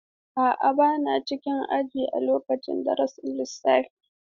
A'a, ba na cikin aji a lokacin darasin lissafi.